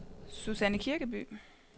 Susanne Kirkeby